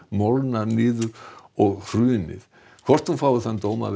molnað og hrunið hvort hún fái þann dóm að